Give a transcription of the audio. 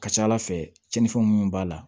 Ka ca ala fɛ cɛninfɛn munnu b'a la